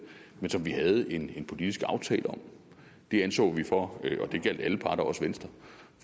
men som vi havde en politisk aftale om det anså vi for og det gjaldt alle parter også venstre